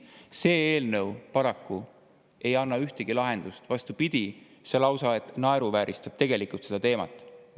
See eelnõu paraku ei anna ühtegi lahendust, vastupidi, see lausa naeruvääristab tegelikult seda teemat.